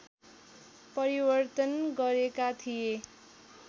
परिवर्तन गरेका थिए